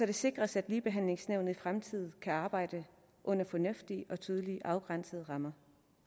det sikres at ligebehandlingsnævnet i fremtiden kan arbejde under fornuftige og tydeligt afgrænsede rammer